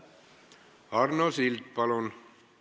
Arno Sild, palun!